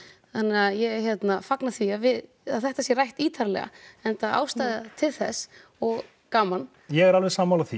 þannig að ég hérna fagna því að við að þetta sé rætt ítarlega enda ástæða til þess og gaman ég er alveg sammála því